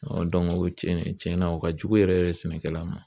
o tiɲɛnɛ tiɲɛna o ka jugu yɛrɛ yɛrɛ de sɛnɛkɛla ma.